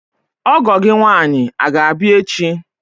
Ọgọ gị nwaanyi aga abịa echi?